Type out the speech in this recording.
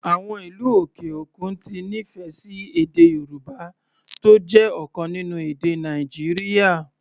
Àwọn ìlú òkè òkun ti nífẹ̀ẹ́ sí èdè Yorùbá, tó jẹ́ ọ̀kan nínú èdè Nàìjíríà.